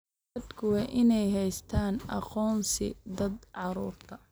Dadku waa inay haystaan ??aqoonsiga da'da carruurta.